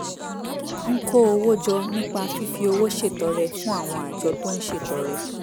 n ko owo jọ nipa fifi owo ṣetọrẹ fun awọn ajọ to n ṣetọrẹ